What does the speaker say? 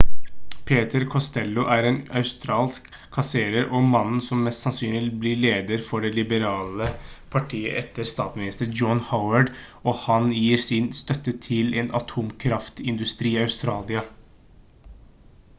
peter costello er en australsk kasserer og mannen som mest sannsynlig blir leder for det liberale partiet etter statsminister john howard og han gir sin støtte til en atomkraftindustri i australia